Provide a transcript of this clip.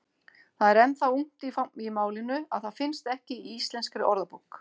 Það er enn það ungt í málinu að það finnst ekki í Íslenskri orðabók.